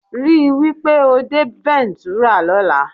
Rí wí pé o dé Ventura lọ́la